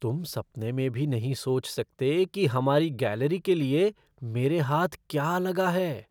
तुम सपने में भी नहीं सोच सकते कि हमारी गैलरी के लिए मेरे हाथ क्या लगा है!